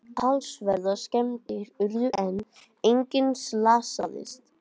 Talsverðar skemmdir urðu en enginn slasaðist